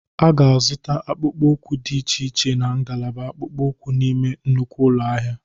A ga-azụta akpụkpọ ụkwụ dị iche iche na ngalaba akpụkpọ ụkwụ n'ime nnukwu ụlọ ahịa.